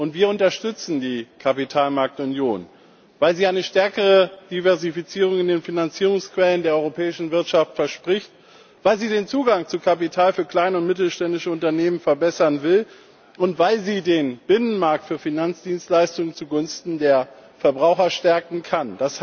Wir unterstützen die Kapitalmarktunion weil sie eine stärkere Diversifizierung in den Finanzierungsquellen der europäischen Wirtschaft verspricht, weil sie den Zugang zu Kapital für kleine und mittelständische Unternehmen verbessern will und weil sie den Binnenmarkt für Finanzdienstleistungen zugunsten der Verbraucher stärken kann.